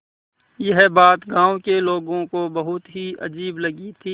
यह बात गाँव के लोगों को बहुत ही अजीब लगी थी